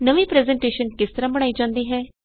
ਨਵੀ ਪਰੈੱਜ਼ਨਟੇਸ਼ਨ ਕਿਸ ਤਰਹ ਬਣਾਈ ਜਾਵੇ